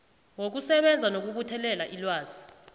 wokusebenza nokubuthelela ilwazi